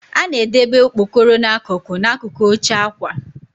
A na-edebe okpokoro n'akụkụ n'akụkụ oche akwa.